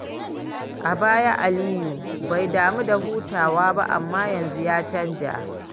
A baya, Aliyu bai damu da hutawa ba, amma yanzu ya canza.